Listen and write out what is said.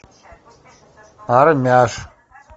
армяш